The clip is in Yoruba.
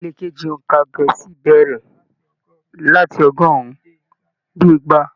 Ìpele keji óńka gẹẹsi bẹrẹ láti ọgọrùn dé igba.